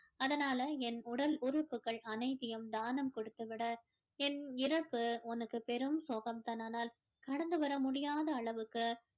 அதனால என் உடல் உறுப்புகள் அனைத்தையும் தானம் கொடுத்து விடு என் இறப்பு உனக்கு பெரும் சோகம் தான் ஆனால் கடந்து வர முடியாத அளவுக்கு